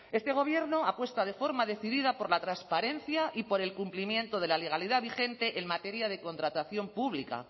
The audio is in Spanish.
este gobierno apuesta de forma decidida por la transparencia y por el cumplimiento de la legalidad vigente en materia de contratación pública